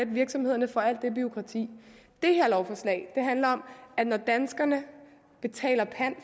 virksomhederne for alt det bureaukrati det her lovforslag handler om at når danskerne betaler pant